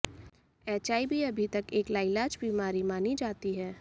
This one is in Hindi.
एचआईवी अभी तक एक लाइलाज बीमारी मानी जाती है